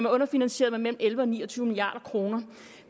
underfinansieret med mellem elleve og ni og tyve milliard kroner